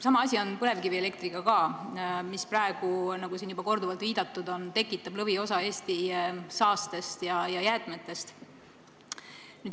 Sama asi on põlevkivielektriga, mis praegu, nagu siin juba korduvalt viidatud on, tekitab lõviosa Eesti saastest ja jäätmetest.